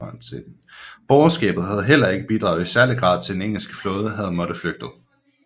Borgerskabet havde heller ikke bidraget i særlig grad til at den engelske flåde havde måttet flygte